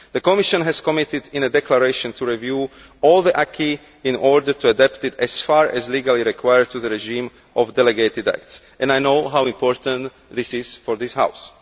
The Commission has committed in a declaration to review all the acquis in order to adapt it as far as legally required to the regime of delegated acts, and I know how important this is for this House.